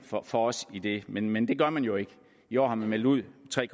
for os i det men men det gør man jo ikke i år har man meldt ud